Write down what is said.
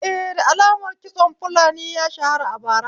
Eh, da lamar kitson fulani ya shara a bara